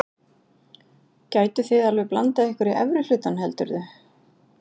Gætuð þið alveg blandað ykkur í efri hlutann heldurðu?